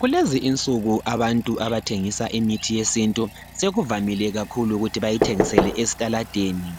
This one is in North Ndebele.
kulezi insuku abantu abathengisa imithi yesintu sekuvamile kakhulu ukuthi bayithengisele esitaladeni